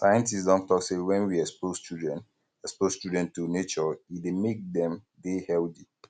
scientist don talk sey when we expose children expose children to nature um e dey make dem dey healthy